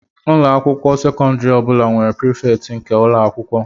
Ụlọ akwụkwọ sekọndrị ọ bụla nwere prefect nke ụlọ akwụkwọ